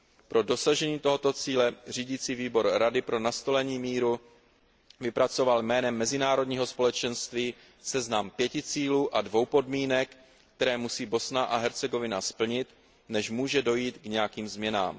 Pro dosažení tohoto cíle Řídící výbor Rady pro nastolení míru vypracoval jménem mezinárodního společenství seznam pěti cílů a dvou podmínek, které musí Bosna a Hercegovina splnit, než může dojít k nějakým změnám.